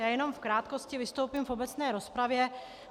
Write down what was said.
Já jenom v krátkosti vystoupím v obecné rozpravě.